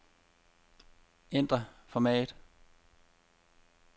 Ændr format.